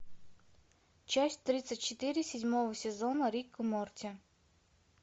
часть тридцать четыре седьмого сезона рик и морти